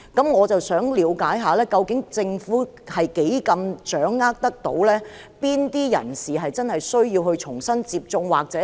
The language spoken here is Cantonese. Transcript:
我想了解，究竟政府能否掌握哪些人士需要重新接種疫苗？